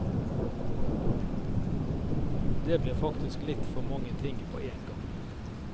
Det blir faktisk litt for mange ting på én gang.